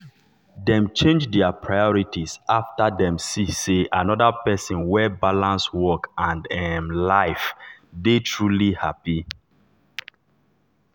dem change their priorities after dem see say another person wey balance work and work and um life dey truly happy.